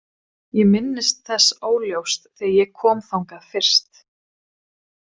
Ég minnist þess óljóst þegar ég kom þangað fyrst.